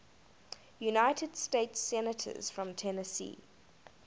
united states senators from tennessee